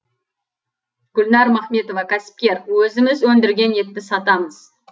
гүлнәр махметова кәсіпкер өзіміз өндірген етті сатамыз